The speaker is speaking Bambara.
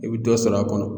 I bɛ dɔ sɔrɔ a kɔnɔ